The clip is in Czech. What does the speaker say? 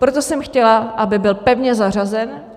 Proto jsem chtěla, aby byl pevně zařazen.